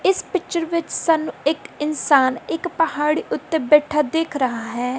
ਇਸ ਪਿੱਚਰ ਵਿੱਚ ਸਾਨੂੰ ਇੱਕ ਇੰਨਸਾਨ ਇੱਕ ਪਹਾੜੀ ਓੱਤੇ ਬੈਠਾ ਦਿਖ ਰਹਾ ਹੈ।